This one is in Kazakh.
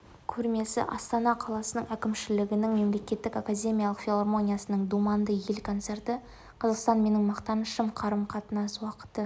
көрмесі астана қаласы әкімшілігінің мемлекеттік академиялық филармониясының думанды ел концерті қазақстан менің мақтанышым қарым-қатынас уақыты